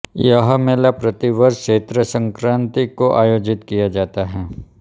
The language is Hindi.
यह मेला प्रतिवर्ष चैत्र संक्रान्ति को आयोजित किया जाता था